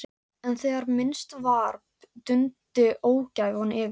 En þegar minnst varði dundi ógæfan yfir.